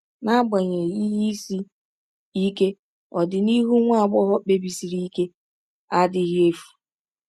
N’agbanyeghị ihe isi ike, ọdịnihu nwa agbọghọ kpebisiri ike a adịghị efu.